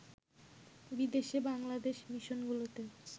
বিদেশে বাংলাদেশ মিশনগুলোতে